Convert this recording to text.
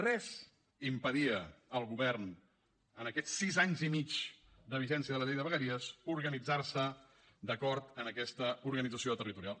res impedia al govern en aquests sis anys i mig de vigència de la llei de vegueries organitzar se d’acord amb aquesta organització territorial